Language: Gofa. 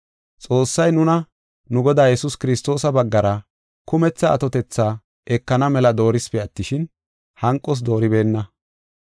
Xoossay nuna nu Godaa Yesuus Kiristoosa baggara kumetha atotethi ekana mela doorisipe attishin, hanqos dooribeenna.